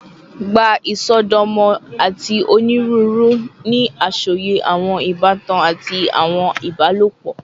Gba isọdọmọ ati oniruuru ni asọye awọn ibatan ati awọn ibalopọ